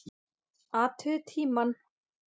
Athugið tímann.